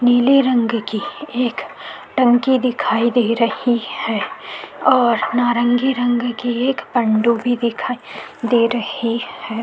नीले रंग की एक टंकी दिखाई दे रही है और नारंगी रंग की एक पनडुब्बी दिखाई दे रही है।